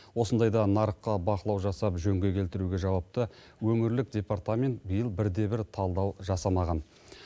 осындайда нарыққа бақылау жасап жөнге келтіруге жауапты өңірлік департамент биыл бірде бір талдау жасамаған